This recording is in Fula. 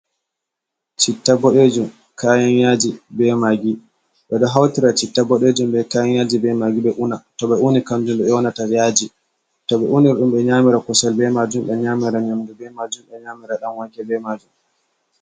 Citta bodejum, kayan yaji be magi. Ɓedo hautira citta boɗejum be kayan yaji be magi be una. To ɓe uni kanjum on ɓe yonata yaji. To ɓe uni ɗum ɓe nyamira kusel be majum, ɓe nyamira nyamdu be majum, ɓe nyamira dan wanke be majum.